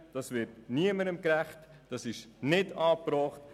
damit werden Sie niemandem gerecht, dies ist nicht angebracht.